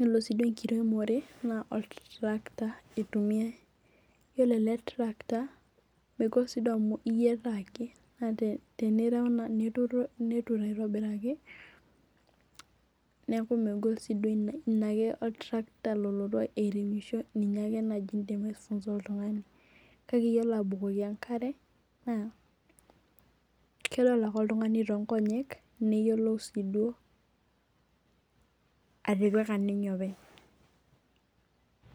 ore su enkiremore na oltarakita itumiai yiolo ele tarakita megola amu iyataa ake netur aitobiraki neaku megol ina in ake nalotu oltarakita airemisho ninye ake indim aifunza oltungani kake iyiolo abukoki enkare kedola ke oltungani tonkonyek neyiolou atipika ninye openy.